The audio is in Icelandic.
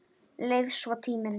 Leið svo tíminn.